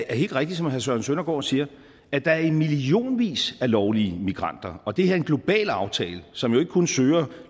er helt rigtigt som herre søren søndergaard siger at der er i millionvis af lovlige migranter og det her er en global aftale som jo ikke kun søger